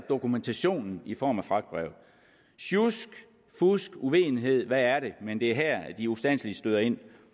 dokumentationen i form af fragtbrev sjusk fusk uvidenhed hvad er det men det er her at de ustandselig støder ind